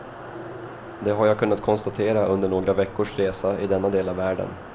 Det har jag kunnat konstatera under några veckors resa i denna del av världen.